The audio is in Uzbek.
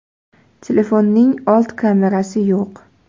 Telefonning old kamerasi yo‘q.